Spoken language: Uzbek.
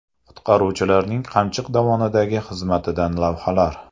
Qutqaruvchilarning Qamchiq dovonidagi xizmatidan lavhalar .